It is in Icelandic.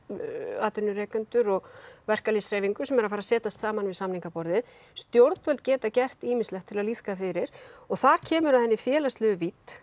atvinnurekendur og verkalýðshreyfingar sem eru að fara að setjast niður saman við samningaborðið stjórnvöld geta gert ýmislegt til að liðka fyrir og þar kemur að þessari félagslegu vídd